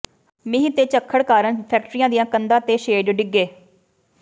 ਮੀਂਹ ਤੇ ਝੱਖੜ ਕਾਰਨ ਫੈਕਟਰੀਆਂ ਦੀਆਂ ਕੰਧਾਂ ਤੇ ਸ਼ੈੱਡ ਡਿੱਗੇ